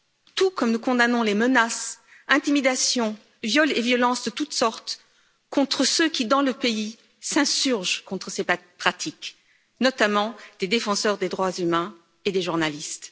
Tout comme nous condamnons les menaces, intimidations, viols et violences de toute sorte contre ceux qui dans le pays s'insurgent contre ces pratiques, notamment des défenseurs des droits humains et des journalistes.